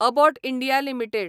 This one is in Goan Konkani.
Abbott India limited